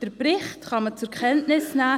Den Bericht kann man zur Kenntnis nehmen.